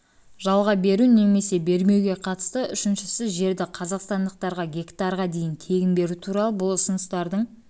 жалға беру немесе бермеуге қатысты үшіншісі жерді қазақстандықтарға гектарға дейін тегін беру туралы бұл ұсыныстардың